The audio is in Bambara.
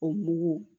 O mugu